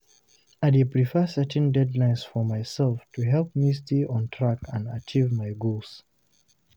I dey prefer setting deadlines for myself to help me stay on track and achieve my goals.